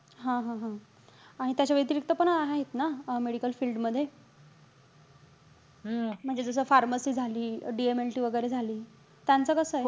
हा-हा-हा. आणि त्याच्या व्यतिरिक्त पण आहेत ना अं medical field मध्ये? हम्म म्हणजे जसं pharamcy झाली. DMLT वगैरे झाली, त्यांचं कसंय?